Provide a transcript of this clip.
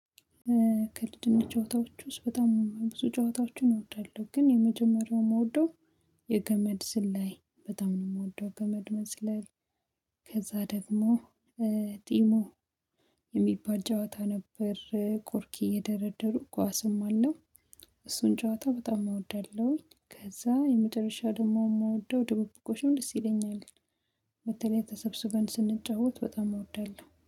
ክልጅነት ጨዋታዎች ውስጥ በጣም ብዙ ጨዋታዎችን እወዳለሁ ግን የመጀመሪያው ምወደው የገመድ ዝላይ በጣም ነው የምወደው ገመድ መዝለል። ከዛ ደግሞ ዲሞ የሚባል ጨዋታ ነበር ኮርኪ እየደረደሩ ኳስም አለው። እሱን ጨዋታ በጣም እወዳለሁኝ። ከዛ የመጨረሻው ደግሞ የምወደው ድብብቆሽም ደስ ይለኛል። በተለይ ተሰብስበን ስንጫወት በጣም እወዳለሁ